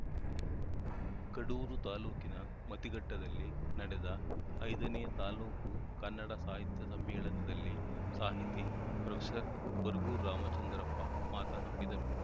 ಕಡೂರು ತಾಲೂಕಿನ ಮತಿಘಟ್ಟದಲ್ಲಿ ನಡೆದ ಐದನೇ ತಾಲೂಕು ಕನ್ನಡ ಸಾಹಿತ್ಯ ಸಮ್ಮೇಳನದಲ್ಲಿ ಸಾಹಿತಿ ಪ್ರೊಫೆಸರ್ ಬರಗೂರು ರಾಮಚಂದ್ರಪ್ಪ ಮಾತನಾಡಿದರು